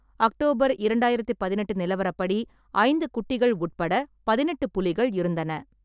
October இரண்டாயிரத்து பதினெட்டு நிலவரப்படி, ஐந்து குட்டிகள் உட்பட பதினெட்டு புலிகள் இருந்தன.